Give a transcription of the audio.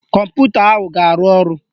Kọmputa ahụ ga-arụ ọrụ